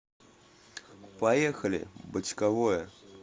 поехали бочковое